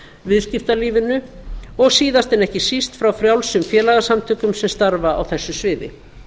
viðskiptalífinu og síðast en ekki síst frá frjálsum félagasamtökum sem starfa á þessu sviði